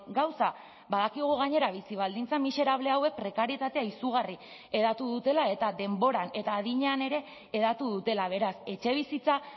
gauza badakigu gainera bizi baldintza miserable hauek prekarietatea izugarri hedatu dutela eta denboran eta adinean ere hedatu dutela beraz etxebizitza